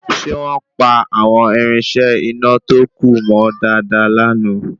Ṣe wọ́n pa àwọn írínṣẹ́ iná tó kù mọ́ dáadáa lana